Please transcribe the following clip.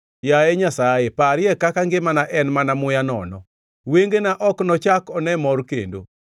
Yaye Nyasaye, parie kaka ngimana en mana muya nono; wengena ok nochak one mor kendo.